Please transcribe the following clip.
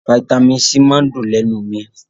Faitamí C máa ń dùn lénu mi